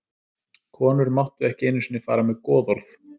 Konur máttu ekki einu sinni fara með goðorð.